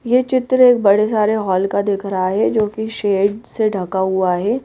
ये चित्र एक बड़े सारे हॉल का दिख रहा है जोकि शेड से ढका हुआ है।